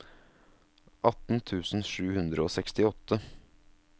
atten tusen sju hundre og sekstiåtte